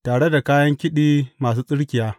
Tare da kayan kiɗi masu tsirkiya.